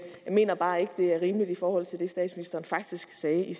mener bare ikke det er rimeligt i forhold til det statsministeren faktisk sagde i